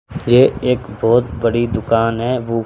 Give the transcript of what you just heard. ये एक बहोत बड़ी दुकान है बू--